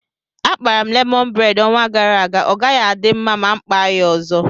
Akpara m lemọn bred ọnwa gara aga ọgaghị adị mma ma mụ kpaa ya ọzọ